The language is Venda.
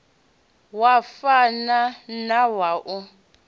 wa fana na wa u